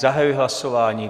Zahajuji hlasování.